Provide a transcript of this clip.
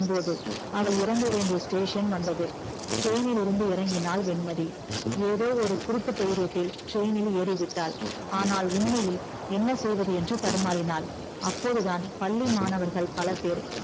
அவள் இறங்க வேண்டிய station வந்தது train லிருந்து இறங்கினால் வெண்மதி எதோ ஒரு குருட்டு தைரியத்தில் train னில் ஏறிவிட்டால் ஆனால் உண்மையில் என்ன செய்வது என்று தடுமாறினால் அப்போதுதான் பள்ளி மாணவர்கள் பலபேர்